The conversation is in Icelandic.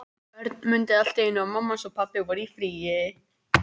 Örn mundi allt í einu eftir því að mamma hans og pabbi voru í fríi.